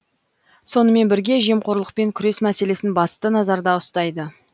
сонымен бірге жемқорлықпен күрес мәселесін басты назарда ұстайды